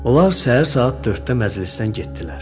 Onlar səhər saat 4-də məclisdən getdilər.